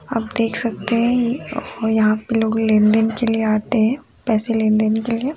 आप देख सकते हैं ये यहाँ पे लोग लेनदेन के लिए आते हैं पैसे लेनदेन के लिए--